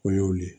O y'o de ye